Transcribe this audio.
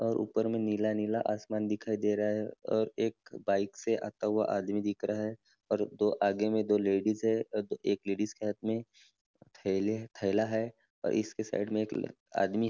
और ऊपर में नीला नीला आसमान दिखाई दे रहा है और एक बाइक से आता हुआ आदमी दिख रहा है और उसके आगे में दो लेडीज है और एक लेडीज के हाथ में थेले हैं थेला है और इसके साइड में एक आदमी --